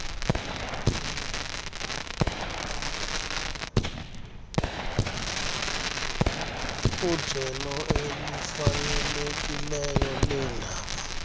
ijelo elifanelekileyo leendaba